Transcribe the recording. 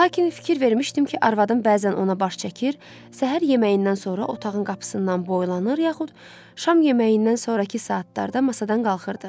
Lakin fikir vermişdim ki, arvadım bəzən ona baş çəkir, səhər yeməyindən sonra otağın qapısından boylanır, yaxud şam yeməyindən sonrakı saatlarda masadan qalxırdı.